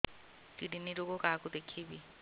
kidney ରୋଗ କାହାକୁ ଦେଖେଇବି